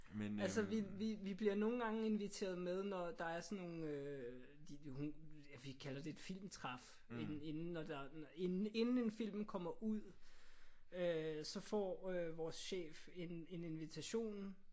Altså vi vi bliver nogle gange inviteret med når der er sådan nogle øh hun vi kalder det et filmtræf inden inden når der inden inden en film kommer ud øh så får vores chef en invitation